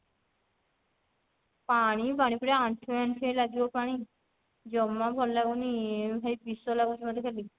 ପାଣି ପାଣି ପୁରା ଆଣ୍ଠୁଏ ଆଣ୍ଠୁଏ ଲାଗିବ ପାଣି ଜମା ଭଲ ଲାଗୁନି ଭାଇ ବିଷ ଲାଗୁଛି ମୋତେ ଖାଲି